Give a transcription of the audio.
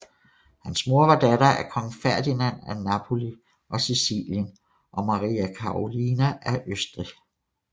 Hans mor var datter af kong Ferdinand af Napoli og Sicilien og Maria Karolina af Østrig